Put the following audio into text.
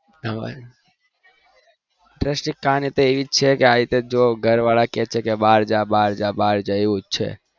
interest કહાની એજ છે ઘર વાળા કે છે બાર જા બાર જાઉં છે